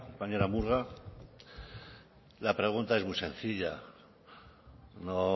compañera murga la pregunta es muy sencilla no